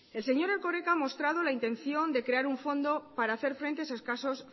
el señor erkoreka ha mostrado la intención de crear un fondo para hacer frente a esos casos